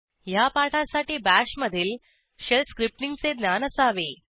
ह्या पाठासाठी BASHमधील शेल स्क्रिप्टींगचे ज्ञान असावे